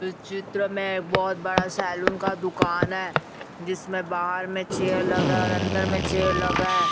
इस चित्र में एक बहोत बड़ा सैलून का दुकान है जिसमें बाहर में चेयर लगा है और अन्दर में चेयर लगा है।